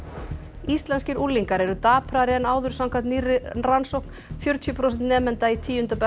íslenskir unglingar eru daprari en áður samkvæmt nýrri rannsókn fjörutíu prósent nemenda í tíunda bekk